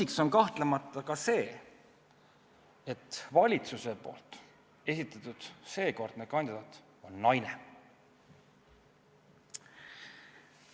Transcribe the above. Pluss on kahtlemata ka see, et valitsuse esitatud seekordne kandidaat on naine.